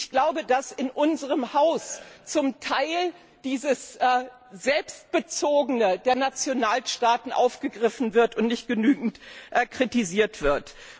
Ich glaube, dass in unserem Haus zum Teil dieses Selbstbezogene der Nationalstaaten aufgegriffen wird und nicht genügend kritisiert wird.